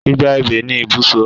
Igba ebè ni ibùsọ